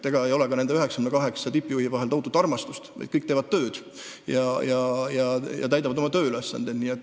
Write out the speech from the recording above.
Ega nende 98 tippjuhi vahel ei ole ka tohutut armastust, lihtsalt kõik teevad tööd ja täidavad oma tööülesandeid.